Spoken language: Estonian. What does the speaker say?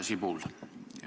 Härra Sibul!